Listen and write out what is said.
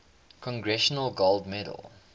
congressional gold medal